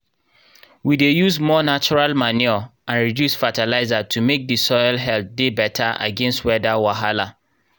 we dey use more natural manure and reduce fertilizer to make the soil health dey better against weather wahala